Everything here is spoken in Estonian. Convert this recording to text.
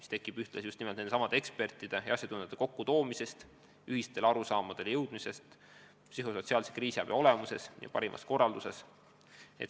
Selle tagab just nimelt ekspertide kokkutoomine, jõudmaks ühistele arusaamidele psühhosotsiaalse kriisiabi olemusest ja parimast korraldusest.